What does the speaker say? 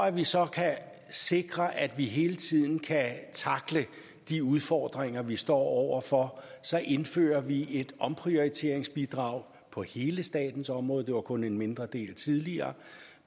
at vi så kan sikre at vi hele tiden kan tackle de udfordringer vi står over for indfører vi et omprioriteringsbidrag på hele statens område det var kun en mindre del tidligere